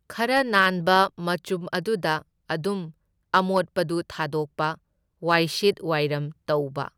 ꯈꯔ ꯅꯥꯟꯕ ꯃꯆꯨꯝ ꯑꯗꯨꯗ ꯑꯗꯨꯝ ꯑꯃꯣꯠꯄꯗꯨ ꯊꯥꯗꯣꯛꯄ, ꯋꯥꯏꯁꯤꯠ ꯋꯥꯏꯔꯝ ꯇꯧꯕ꯫